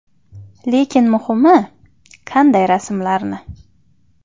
Lekin muhimi – qanday rasmlarni.